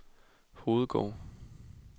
Hovedgård